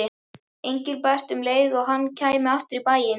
Engilbert um leið og hann kæmi aftur í bæinn.